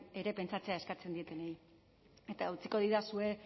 ere pentsatzea eskatzen dietenei eta utziko didazue